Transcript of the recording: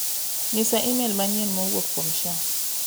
Ng'isaimel manyien ma owuok kuom Asha.